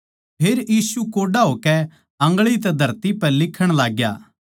फेर यीशु कोड्डा होकै आन्गळी तै धरती पै लिक्खण लाग्या